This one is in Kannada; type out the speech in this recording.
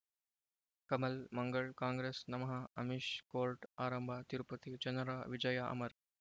ಕಮಲ್ ಮಂಗಳ್ ಕಾಂಗ್ರೆಸ್ ನಮಃ ಅಮಿಷ್ ಕೋರ್ಟ್ ಆರಂಭ ತಿರುಪತಿ ಜನರ ವಿಜಯ ಅಮರ್